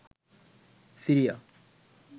Syria